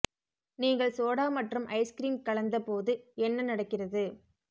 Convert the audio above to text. நீங்கள் சோடா மற்றும் ice cream கலந்து போது என்ன நடக்கிறது